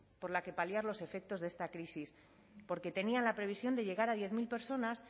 por la que paliar los efectos de esta crisis porque tenían la previsión de llegar a diez mil personas